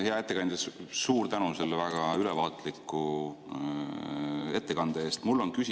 Hea ettekandja, suur tänu selle väga ülevaatliku ettekande eest!